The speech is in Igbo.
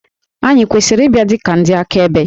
Ànyị kwesịrị ịbịa dị ka ndị akaebe?